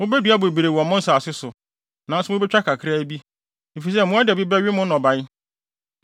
Mubedua bebree wɔ mo nsase so, nanso mubetwa kakraa bi, efisɛ mmoadabi bɛwe mo nnɔbae.